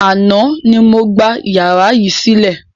Àná ni mo gbà yàrá yìí sílẹ̀.